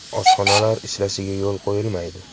Oshxonalar ishlashiga yo‘l qo‘yilmaydi.